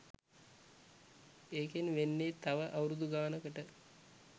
ඒකෙන් වෙන්නෙ තව අවුරුදු ගානකට